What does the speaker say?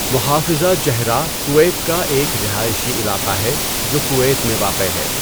محافظہ Jahra Kuwait کا ایک رہائشی علاقہ ہے جو کویت میں واقع ہے۔